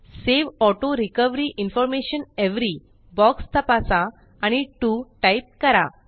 save auto recovery information every box तपासा आणि2 type करा